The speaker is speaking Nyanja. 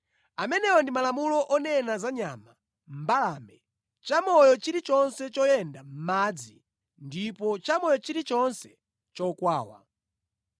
“ ‘Amenewa ndi malamulo onena za nyama, mbalame, chamoyo chilichonse choyenda mʼmadzi ndiponso chamoyo chilichonse chokwawa.